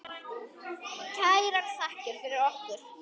Kærar þakkir fyrir okkur.